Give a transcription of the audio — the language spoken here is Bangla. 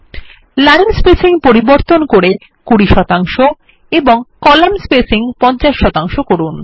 লাইন স্পেসিং পরিবর্তন করে ২০ শতাংশ এবং কলাম স্পেসিং ৫০ শতাংশ করুন